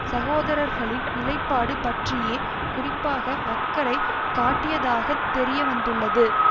சகோதரர்களின் நிலைப்பாடு பற்றியே குறிப்பாக அக்கறை காட்டியதாகத் தெரியவந்துள்ளது